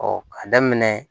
ka daminɛ